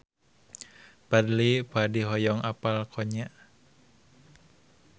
Fadly Padi hoyong apal Konya